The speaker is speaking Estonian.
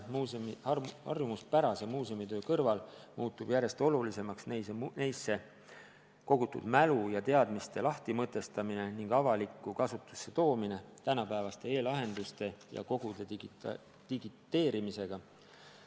Harjumuspärase muuseumitöö kõrval muutub järjest olulisemaks neisse kogutud mälu ja teadmiste lahtimõtestamine ning avalikku kasutusse toomine tänapäevaste e-lahenduste ja kogude digiteerimisega.